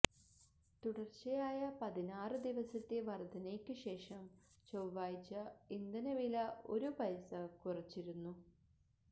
തുടര്ച്ചയായ പതിനാറ് ദിവസത്തെ വര്ധനയ്ക്ക് ശേഷം ചൊവ്വാഴ്ച ഇന്ധനവില ഒരു പൈസ കുറച്ചിരുന്നു